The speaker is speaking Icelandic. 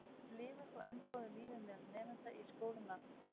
Þeir lifa þó enn góðu lífi meðal nemenda í skólum landsins.